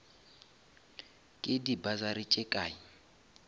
ke di bursary tše kae